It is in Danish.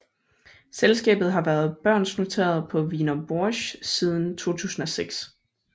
Selskabet har været børsnoteret på Wiener Börse siden 2006